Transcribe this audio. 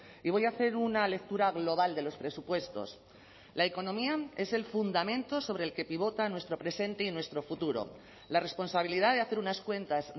y voy a hacer una lectura global de los presupuestos la economía es el fundamento sobre el que pivota nuestro presente y nuestro futuro la responsabilidad de hacer unas cuentas